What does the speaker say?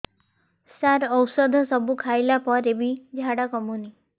ସାର ଔଷଧ ସବୁ ଖାଇଲା ପରେ ବି ଝାଡା କମୁନି